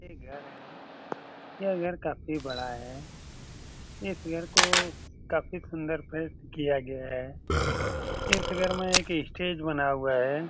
ये घर है यह घर काफी बड़ा है इस घर को काफी सुंदर से किया गया है इस घर मे एक स्टेज बना हुआ हुई है।